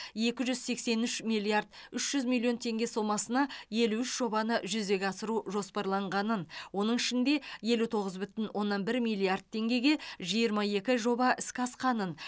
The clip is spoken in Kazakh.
екі жүз сексен үш миллиард үш жүз миллион теңге сомасына елу үш жобаны жүзеге асыру жоспарланғанын оның ішінде елу тоғыз бүтін оннан бір миллиард теңгеге жиырма екі жоба іске асқанын